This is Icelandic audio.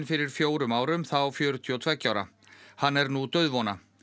fyrir fjórum árum þá fjörutíu og tveggja ára hann er nú dauðvona